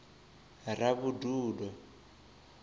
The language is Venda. ravhududo